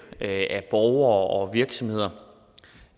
af borgere og virksomheder